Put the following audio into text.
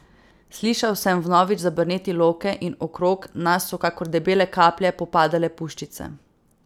Slišal sem vnovič zabrneti loke in okrog nas so kakor debele kaplje popadale puščice.